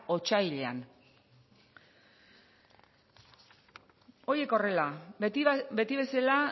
otsailean horiek horrela beti bezala